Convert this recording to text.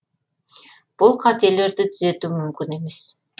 бұл қателерді түзету мүмкін емес